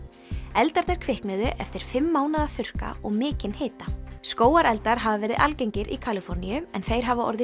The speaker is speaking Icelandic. eldarnir kviknuðu eftir fimm mánaða þurrka og mikinn hita skógareldar hafa verið algengir í Kaliforníu en þeir hafa orðið